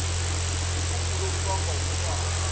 nokugula okubangwa wutshwala